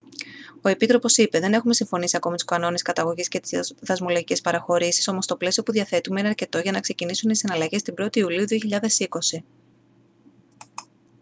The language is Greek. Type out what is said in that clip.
ο επίτροπος είπε: «δεν έχουμε συμφωνήσει ακόμη τους κανόνες καταγωγής και τις δασμολογικές παραχωρήσεις όμως το πλαίσιο που διαθέτουμε είναι αρκετό για να ξεκινήσουν οι συναλλαγές την 1η ιουλίου 2020»